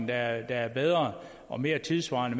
der er bedre og mere tidssvarende